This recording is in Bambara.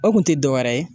O kun tɛ dɔwɛrɛ ye